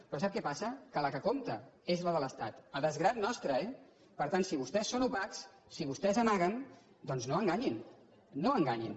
però sap què passa que la que compta és la de l’es·tat a desgrat nostre eh per tant si vostès són opacs si vostès amaguen doncs no enganyin no enganyin